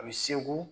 A bɛ segu